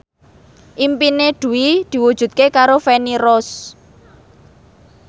impine Dwi diwujudke karo Feni Rose